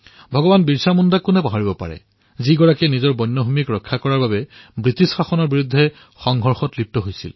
ভগবান বীৰছা মুণ্ডাৰ কথা কোনে পাহৰিব পাৰে যিয়ে নিজৰ বন্যভূমিৰ সুৰক্ষাৰ বাবে ব্ৰিটিছ শাসনৰ বিৰুদ্ধে তুমূল সংঘৰ্ষত লিপ্ত হৈছিল